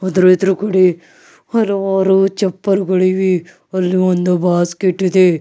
ಆದ್ರೂ ಎದುರುಗಡೆ ಹಲವಾರು ಚಪ್ಪಲ್ಗಳಿವೆ ಅಲ್ಲಿ ಒಂದು ಬಾಸ್ಕೆಟ್ ಇದೆ.